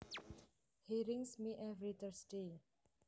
He rings me every Thursday